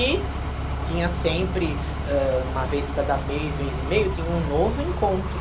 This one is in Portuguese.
E tinha sempre, ãh, uma vez cada mês, mês e meio, tinha um novo encontro.